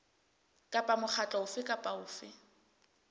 kapa mokgatlo ofe kapa ofe